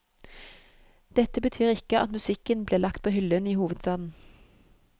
Dette betyr ikke at musikken blir lagt på hyllen i hovedstaden.